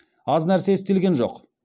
аз нәрсе істелген жоқ